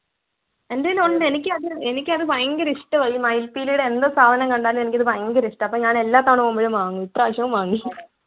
എൻ്റെ കയ്യിലുണ്ട് എനിക്ക് അത് എനിക്കത് ഭയങ്കര ഇഷ്ടവാ ഈ മയിൽപ്പീലിയുടെ എന്ത് സാധനം കണ്ടാലും എനിക്ക് അത് ഭയങ്കര ഇഷ്ടാ അപ്പൊ ഞാൻ എല്ലാ തവണ പോവുമ്പോളും വാങ്ങും ഇപ്രാവശ്യവും വാങ്ങി